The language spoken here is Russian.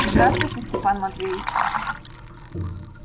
здравствуйте степан матвеич